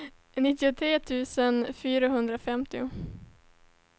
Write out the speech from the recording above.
nittiotre tusen fyrahundrafemtio